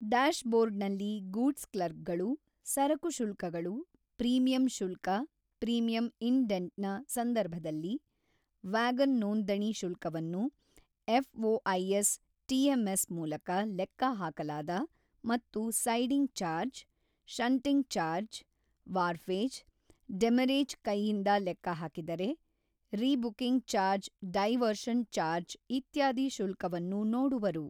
ಡ್ಯಾಶ್ಬೋರ್ಡ್ನಲ್ಲಿ goods clerk ಗಳು ಸರಕು ಶುಲ್ಕಗಳು, ಪ್ರೀಮಿಯಂ ಶುಲ್ಕ ಪ್ರೀಮಿಯಂ ಇಂಡೆಂಟ್ನ ಸಂದರ್ಭದಲ್ಲಿ, ವ್ಯಾಗನ್ ನೋಂದಣಿ ಶುಲ್ಕವನ್ನು ಎಫ್ಒಐಎಸ್ ಟಿಎಂಎಸ್ ಮೂಲಕ ಲೆಕ್ಕಹಾಕಲಾದ ಮತ್ತು siding charge, shunting charge, wharfage, demurrage ಕೈಯಿಂದ ಲೆಕ್ಕ ಹಾಕಿದರೆ, ರೀಬುಕಿಂಗ್ ಚಾರ್ಜ್ ಡೈವರ್ಷನ್ ಚಾರ್ಜ್ ಇತ್ಯಾದಿ ಶುಲ್ಕವನ್ನು ನೋಡುವರು.